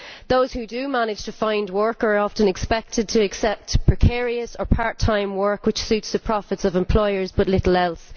Those who do manage to find work are often expected to accept precarious or part time work which suits the profits of employers but little else.